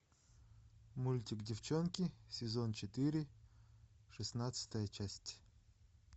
мультик девчонки сезон четыре шестнадцатая часть